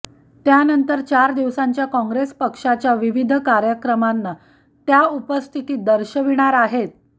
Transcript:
त्यानंतर चार दिवसांच्या काँग्रेस पक्षाच्या विविध कार्यक्रमांना त्या उपस्थिती दर्शविणार आहेत